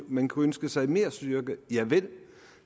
man kunne ønske sig mere styrke javel